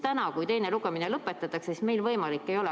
Täna, kui teine lugemine lõpetatakse, meil seda võimalust enam ei ole.